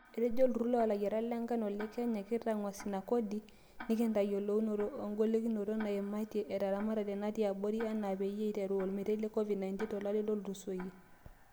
Etejo olturur loolayiarak le nkano le Kenya kitanguas ina kodi, tenkitayoluonoto oogolikinoto naaimatia teramatare natii abori enaa peyie eiteru olmetai le Covid-19 tolari otulusoyia.